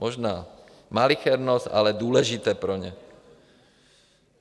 Možná malichernost, ale důležité pro ně.